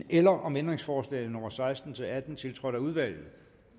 eller om ændringsforslag nummer seksten til atten tiltrådt af udvalget